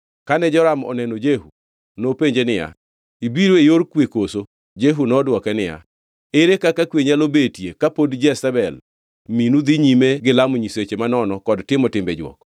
Kane Joram oneno Jehu nopenje niya, “Ibiro e yor kwe koso?” Jehu nodwoke niya, “Ere kaka kwe nyalo betie kapod Jezebel minu dhi nyime gi lamo nyiseche manono kod timo timbe jwok?”